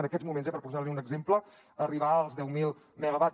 en aquests moments eh per posar li un exemple arribar als deu mil megawatts